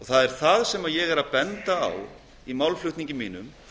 það er það sem ég er að benda á í málflutningi mínum